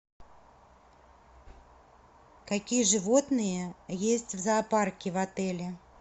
какие животные есть в зоопарке в отеле